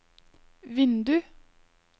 vindu